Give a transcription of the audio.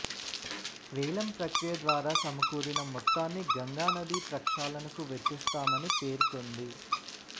వేలం ప్రక్రియ ద్వారా సమకూరిన మొత్తాన్ని గంగా నదీ ప్రక్షాళనకు వెచ్చిస్తామని పేర్కొంది